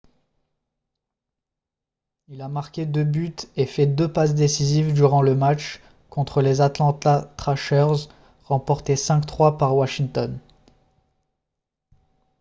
il a marqué 2 buts et fait 2 passes décisives durant le match contre les atlanta trashers remporté 5-3 par washington